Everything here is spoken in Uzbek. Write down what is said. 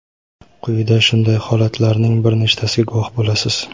Quyida shunday holatlarning bir nechtasiga guvoh bo‘lasiz.